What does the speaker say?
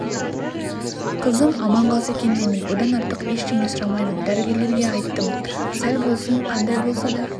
қызым аман қалса екен деймін одан артық ештеңе сұрамаймын дәрігерлерге айттым сал болсын қандай болса да